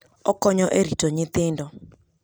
Okonyo e rito nyithindo.